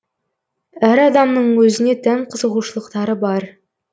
әр адамның өзіне тән қызығушылықтары бар